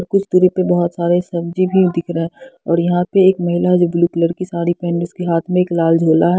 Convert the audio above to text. कुछ दूरी पर बहुत सारे सब्जी भी दिख रहे हैं और यहां पे एक महिला है जो ब्लू कलर की साड़ी पहन रही उसके हाथ में एक लाल झोला है।